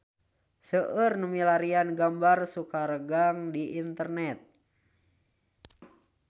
Seueur nu milarian gambar Sukaregang di internet